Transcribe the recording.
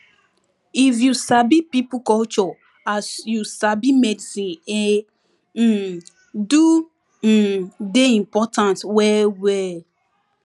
if you sabi pipo culture and as you sabi medicine e um do um dey important well well